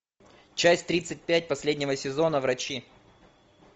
часть тридцать пять последнего сезона врачи